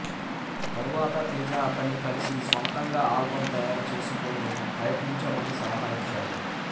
తరువాత తేజ అతన్ని కలిసి స్వంతంగా ఆల్బం తయారు చేసుకుని ప్రయత్నించమని సలహా ఇచ్చాడు